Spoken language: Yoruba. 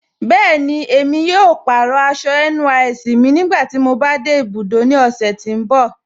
Bẹẹni, emi yóò pàárọ̀ àṣọ̀ NYSC mi nígbàtí mò bá de ibùdó ní ọ̀ṣẹ̀ tì n bọ̀.